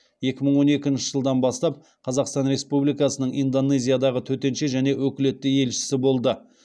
екі мың он екінші жылдан бастап қазақстан республикасының индонезиядағы төтенше және өкілетті елшісі болды